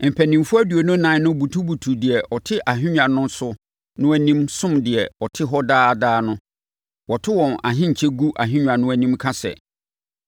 mpanimfoɔ aduonu ɛnan no butubutu deɛ ɔte ahennwa no so no anim som deɛ ɔte hɔ daa daa no. Wɔto wɔn ahenkyɛ gu ahennwa no anim ka sɛ: